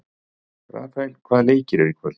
Rafael, hvaða leikir eru í kvöld?